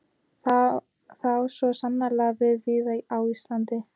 Það á svo sannarlega við víða á Íslandi.